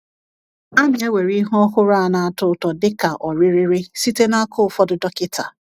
A na-ewere ihe ọhụrụ a na-atọ ụtọ dị ka ọrịrịrị site n’aka ụfọdụ dọkịta.